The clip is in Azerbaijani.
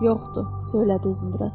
Yoxdur, söylədi Uzundraz.